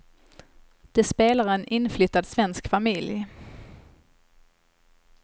De spelar en inflyttad svensk familj.